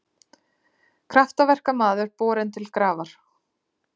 Kraftaverkamaður borinn til grafar